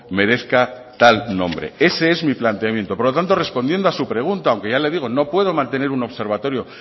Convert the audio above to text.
merezca tal nombre ese es mi planteamiento por lo tanto respondiendo a su pregunta aunque ya le digo no puedo mantener un observatorio